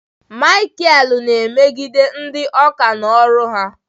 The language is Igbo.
Michael na-emegide ndị oka na oru ha